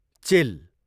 चिल